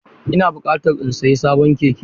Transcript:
Ina buƙata in sayi sabon keke..